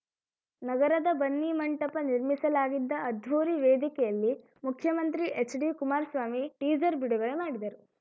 ನಗರದ ಬನ್ನಿಮಂಟಪ ನಿರ್ಮಿಸಲಾಗಿದ್ದ ಅದ್ಧೂರಿ ವೇದಿಕೆಯಲ್ಲಿ ಮುಖ್ಯಮಂತ್ರಿ ಎಚ್‌ಡಿಕುಮಾರಸ್ವಾಮಿ ಟೀಸರ್‌ ಬಿಡುಗಡೆ ಮಾಡಿದರು